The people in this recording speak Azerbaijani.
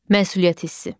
Məsuliyyət hissi.